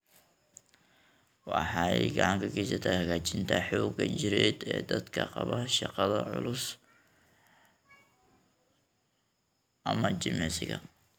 Waxay gacan ka geysataa hagaajinta xoogga jireed ee dadka qaba shaqada culus ama jimicsiga.